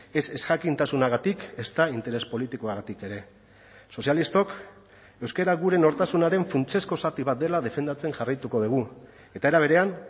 ez ezjakintasunagatik ezta interes politikoagatik ere sozialistok euskara gure nortasunaren funtsezko zati bat dela defendatzen jarraituko dugu eta era berean